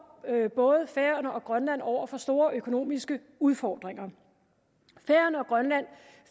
både færøerne og grønland over for store økonomiske udfordringer færøerne og grønland